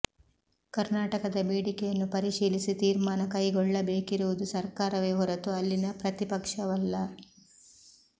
ಕರ್ನಾಟಕದ ಬೇಡಿಕೆಯನ್ನು ಪರಿಶೀಲಿಸಿ ತೀರ್ಮಾನ ಕೈಗೊಳ್ಳಬೇಕಿರುವುದು ಸರ್ಕಾರವೇ ಹೊರತು ಅಲ್ಲಿನ ಪ್ರತಿಪಕ್ಷವಲ್ಲ